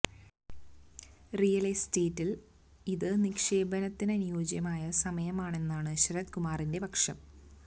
real എസ്റ്റേറ്റില് ഇത് നിക്ഷേപത്തിന് അനുയോജ്യമായ സമയമാണെന്നാണ് ശരത് കുമാറിന്റെ പക്ഷം